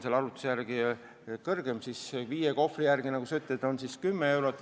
Selle arvutuse järgi on viie kohvri hinna vahe 10 eurot.